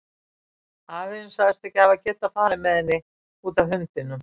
Afi þinn sagðist ekki hafa getað farið með henni, út af hundinum.